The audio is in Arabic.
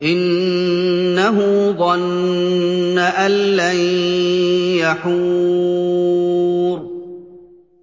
إِنَّهُ ظَنَّ أَن لَّن يَحُورَ